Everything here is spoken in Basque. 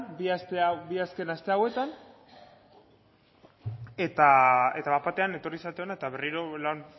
bi azken aste hauetan eta bat batean etorri zarete hona eta berriro